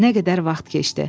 Nə qədər vaxt keçdi?